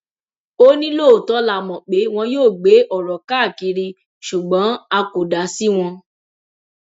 ó ní lóòótọ la mọ pé wọn yóò gbé ọrọ káàkiri ṣùgbọn a kò dá sí wọn